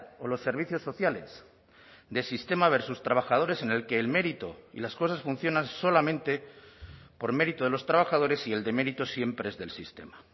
o los servicios sociales de sistema versus trabajadores en el que el mérito y las cosas funcionan solamente por mérito de los trabajadores y el demérito siempre es del sistema